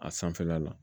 A sanfɛla la